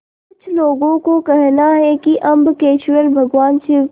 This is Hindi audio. कुछ लोगों को कहना है कि अम्बकेश्वर भगवान शिव के